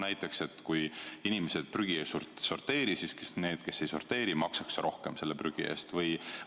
Näiteks kui inimesed prügi ei sorteeri, siis need, kes ei sorteeri, maksaks prügi eest rohkem.